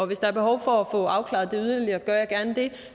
hvis der er behov for få afklaret det yderligere gør jeg gerne det